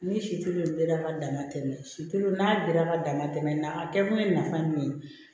Ni situlula ma dama tɛmɛ silo n'a belebeleba dama tɛmɛ nka a kɛkun ye nafa ye min ye